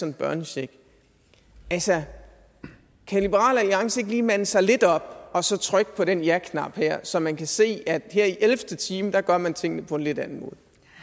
en børnecheck altså kan liberal alliance ikke lige mande sig lidt op og så trykke på den jaknap her så man kan se at her i ellevte time gør man tingene på en lidt anden måde